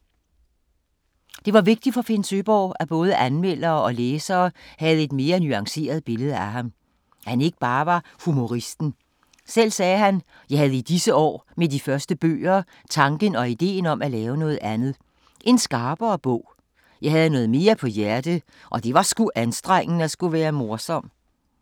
Det var vigtigt for Finn Søeborg, at både anmeldere og læsere havde et mere nuanceret billede af ham. At han ikke bare var humoristen. Selv sagde han: "Jeg havde i disse år med de første bøger tanken og ideen om at lave noget andet. En skarpere bog. Jeg havde noget mere på hjerte, det var sgu anstrengende at skulle være morsom."